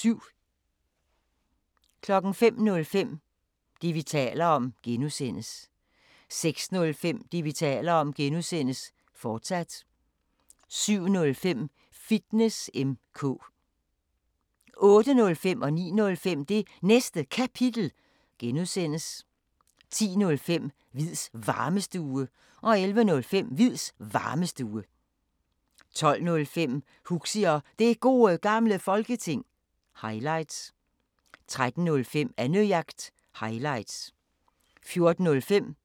05:05: Det, vi taler om (G) 06:05: Det, vi taler om (G), fortsat 07:05: Fitness M/K 08:05: Det Næste Kapitel (G) 09:05: Det Næste Kapitel (G) 10:05: Hviids Varmestue 11:05: Hviids Varmestue 12:05: Huxi og Det Gode Gamle Folketing – highlights 13:05: Annejagt – highlights 14:05: Bæltestedet